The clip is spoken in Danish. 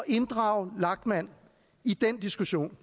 inddrage lachmann i den diskussion